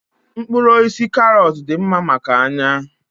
Mkpụrụ osisi karọt dị mma maka anya